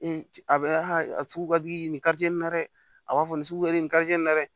a bɛ a sugu ka di ni na dɛ a b'a fɔ nin suguya in nin ka na dɛ